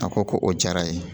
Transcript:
A ko ko o diyara ye